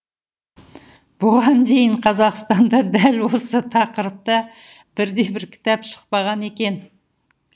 бұған дейін қазақстанда дәл осы тақырыпта бірде бір кітап шықпаған екен